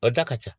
O da ka ca